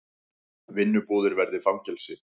Vinnubúðir verði fangelsi